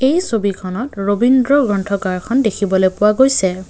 এই ছবিখনত ৰবীন্দ্ৰ গ্ৰন্থগাৰখন দেখিবলে পোৱা গৈছে।